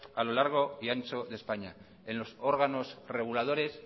a lo largo y ancho de españa en los órganos reguladores